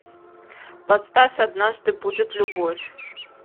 поставь однажды будет любовь